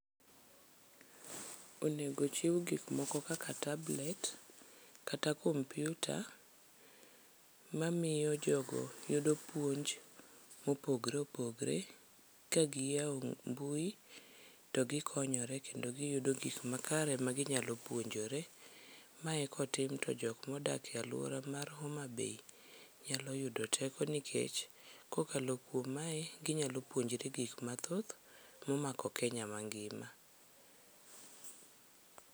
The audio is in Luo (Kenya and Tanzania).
Onego chiw gikmoko kaka tablet kata kompiuta, mamiyo jogo yudo puonj mopogre opogre ka giyawo mbui to gikonyore kendo giyudo gik makare maginyalo puonjore. Mae kotim to jokmodak e alwora mar Homabay nyalo yudo teko nikech kokalo kuom mae, ginyalo puonjore gikmathoth momako Kenya mangima.